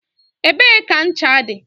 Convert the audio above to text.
Ebee ka ncha dị?